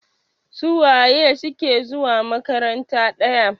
Suwaye suke zuwa makaranta ɗaya?